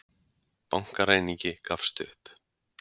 Bankaræningi gafst upp